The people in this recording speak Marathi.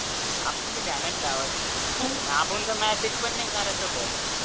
आपुन भी ध्यानात ठेवायचं आपण तर message पण नाही करायचा भो